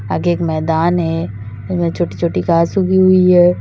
आगे एक मैदान है उसमें छोटी छोटी घास उगी हुई है।